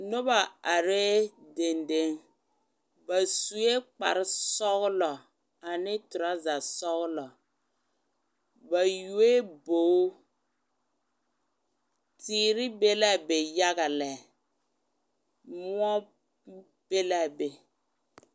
Noba are denden ba sue kpare sɔglɔ ane trozer sɔglɔ ba yoe bogi teere be la a be yaga yaga lɛ, moɔ be la a be